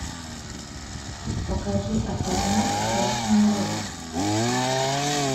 покажи особняк красная роза